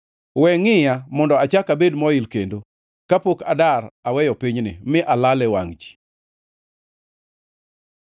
We ngʼiya, mondo achak abed moil kendo kapok adar aweyo pinyni mi alal e wangʼ ji.